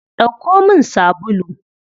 Ɗauko min sabulu.